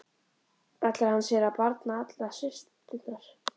Ætlar hann sér að barna allar systurnar?